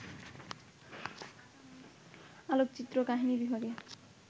আলোকচিত্র কাহিনী বিভাগে